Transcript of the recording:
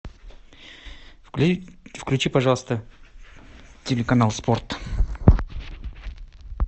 включи пожалуйста телеканал спорт